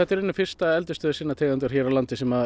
í rauninni fyrsta eldisstöð sinnar tegundar hér á landi sem